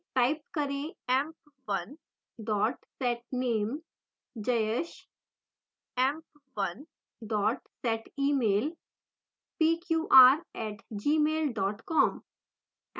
type करें: emp1 setname jayesh; emp1 setemail pqr @gmail com;